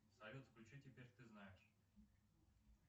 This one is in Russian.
салют включи теперь ты знаешь